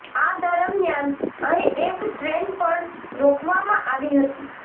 આ દરમિયાન અહીં એક ટ્રેન પણ રોકવામાં આવી હતી